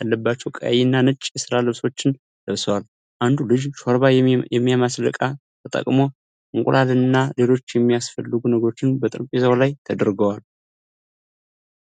ያለባቸው ቀይና ነጭ የሥራ ልብሶችን ለብሰዋል፤ አንዱ ልጅ ሾርባ የሚማስል ዕቃ ተጠቅሞ እንቁላል፣ እና ሌሎች የሚያስፈልጉ ነገሮች በጠረጴዛው ላይ ተደርድረዋል።